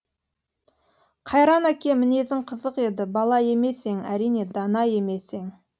қайран әке мінезің қызық еді бала емес ең әрине дана емес ең